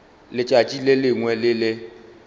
letšatši le lengwe le le